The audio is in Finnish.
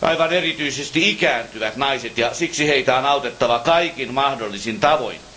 Aivan erityisesti ikääntyvät naiset ja siksi heitä on autettava kaikin mahdollisin tavoin.